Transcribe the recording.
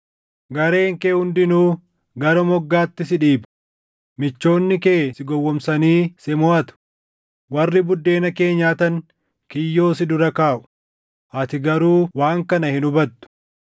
Gareen kee hundinuu gara moggaatti si dhiiba; michoonni kee si gowwoomsanii si moʼatu; warri buddeena kee nyaatan kiyyoo si dura kaaʼu; ati garuu waan kana hin hubattu.